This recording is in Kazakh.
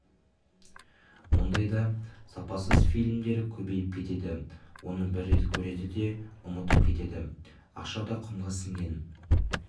ондайда сапасыз фильмдер көбейіп кетеді оны бір рет көреді де ұмытып кетеді ақша да құмға сіңген